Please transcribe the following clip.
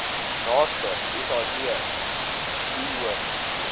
naaste said doeane